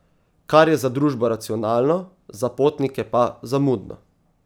Kar je za družbo racionalno, za potnike pa zamudno.